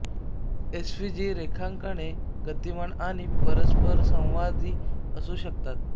S V G रेखांकने गतिमान आणि परस्परसंवादी असू शकतात